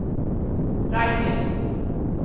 Ragnhild